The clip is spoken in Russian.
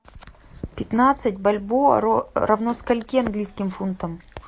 пятнадцать бальбоа равно скольки английским фунтам